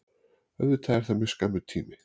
Auðvitað er það mjög skammur tími